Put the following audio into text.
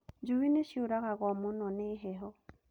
Njui nĩ ciũragagwo mũno nĩ heho